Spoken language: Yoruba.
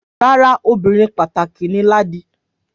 Rárá, ọmọbìnrin pàtàkì ni Ladi